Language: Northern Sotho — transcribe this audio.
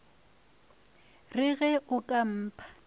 re ge o ka mpha